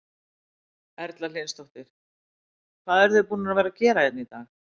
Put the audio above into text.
Erla Hlynsdóttir: Hvað eruð þið búnar að vera að gera hérna í dag?